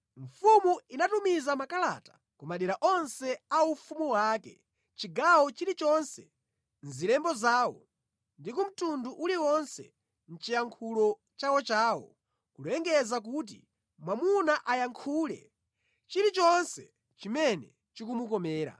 Mfumu inatumiza makalata ku madera onse a ufumu wake, chigawo chilichonse mʼzilembo zawo ndi ku mtundu uliwonse mʼchiyankhulo chawochawo kulengeza kuti mwamuna ayankhule chilichonse chimene chikumukomera.